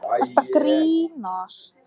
Á honum var málmplata sem á stóð grafið: